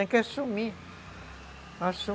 Tem que assumir.